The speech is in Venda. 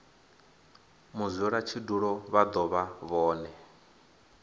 mudzulatshidulo vha do vha vhone